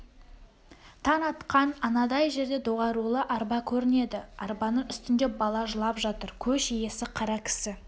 таң атқан анадай жерде доғарулы арба көрінеді арбаның үстінде бала жылап жатыр көш иесі қара кісі